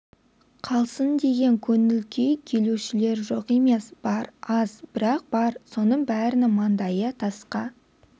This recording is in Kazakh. қалсын деген көңіл күй келушілер жоқ емес бар аз бірақ бар соның бәрінің маңдайы тасқа